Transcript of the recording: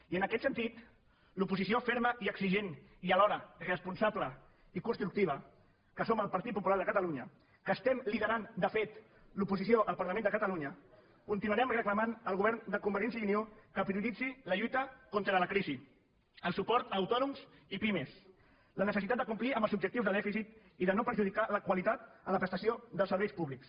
i en aquest sentit l’oposició ferma i exigent i alhora responsable i constructiva que som el partit popular de catalunya que estem liderant de fet l’oposició al parlament de catalunya continuarem reclamant al govern de convergència i unió que prioritzi la lluita contra la crisi el suport a autònoms i pimes la necessitat de complir amb els objectius de dèficit i de no perjudicar la qualitat en la prestació dels serveis públics